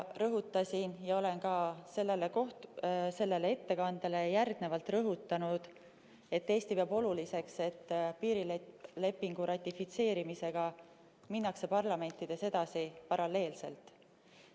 Rõhutasin ja olen ka sellele ettekandele järgnevalt rõhutanud, et Eesti peab oluliseks, et piirilepingu ratifitseerimisega minnakse parlamentides edasi paralleelselt.